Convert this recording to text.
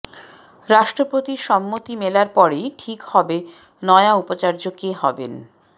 রাষ্ট্রপতির সম্মতি মেলার পরেই ঠিক হবে নয়া উপাচার্য কে হবেন